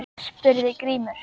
spurði Grímur.